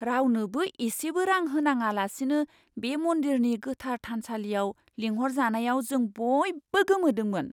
रावनोबो इसेबो रां होनाङालासिनो बे मन्दिरनि गोथार थानसालियाव लिंहरजानायाव जों बयबो गोमोदोंमोन!